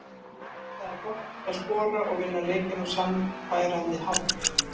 Það var gott að skora og vinna leikinn á sannfærandi hátt.